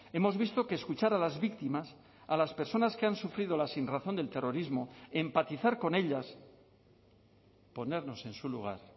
hemos visto que escuchar a las víctimas a las personas que han sufrido la sinrazón del terrorismo empatizar con ellas ponernos en su lugar